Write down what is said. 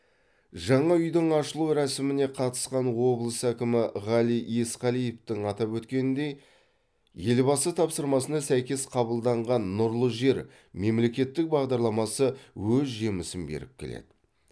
жаңа үйдің ашылу рәсіміне қатысқан облыс әкімі ғали есқалиевтің атап өткеніндей елбасы тапсырмасына сәйкес қабылданған нұрлы жер мемлекеттік бағдарламасы өз жемісін беріп келеді